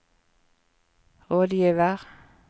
rådgiver